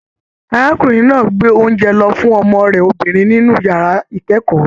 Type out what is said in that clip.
Arákùnrin náà gbé oúnjẹ lọ fún ọmọ rẹ obìnrin nínú yàrá ikẹkọọ.